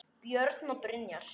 Björn og Brynja.